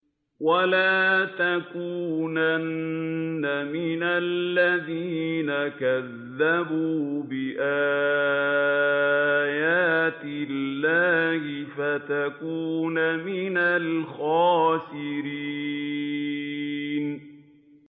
وَلَا تَكُونَنَّ مِنَ الَّذِينَ كَذَّبُوا بِآيَاتِ اللَّهِ فَتَكُونَ مِنَ الْخَاسِرِينَ